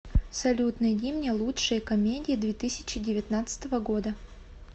салют найди мне лучшие комедии две тысяча девятнадцатого года